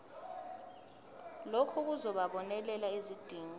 lokhu kuzobonelela izidingo